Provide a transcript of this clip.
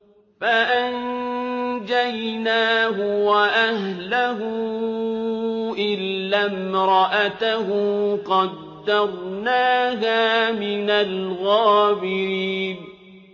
فَأَنجَيْنَاهُ وَأَهْلَهُ إِلَّا امْرَأَتَهُ قَدَّرْنَاهَا مِنَ الْغَابِرِينَ